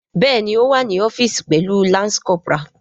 Bẹẹni o wa ni ọfiisi pẹlu lance corporal.